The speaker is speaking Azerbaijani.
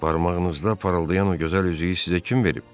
Barmağınızda parıldayan o gözəl üzüyü sizə kim verib?